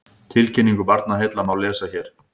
Tilkynningu Barnaheilla má lesa hér